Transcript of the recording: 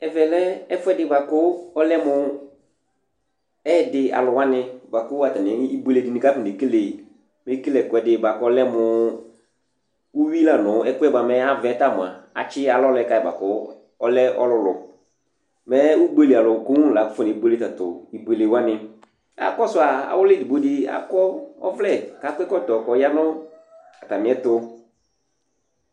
Ɛvɛ lɛ ɛfʋɛdɩ bʋa kʋ ɔlɛ mʋ ɛyɛdɩ alʋ wanɩ bʋa kʋ eyi ibuele dɩnɩ kʋ afɔnekele, mɛ ekele ɛkʋɛdɩ bʋa kʋ ɔlɛ mʋ uyui la nʋ ɛkʋ yɛ bʋa mɛ ava yɛ ta mʋa, atsɩ alɔ lɛ ka yɩ bʋa kʋ ɔlɛ ɔlʋlʋ Mɛ ugbe li alʋ go la afɔnebuele ɔta tʋ ibuele wanɩ Akɔsʋ a, awʋla edigbo dɩ akɔ ɔvlɛ kʋ akɔ ɛkɔtɔ kʋ ɔya nʋ atamɩɛtʋ